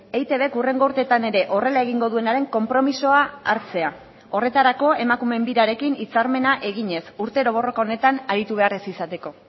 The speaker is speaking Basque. eitbk hurrengo urtetan ere horrela egingo duenaren konpromisoa hartzea horretarako emakumeen birarekin hitzarmena eginez urtero borroka honetan aritu behar ez izateko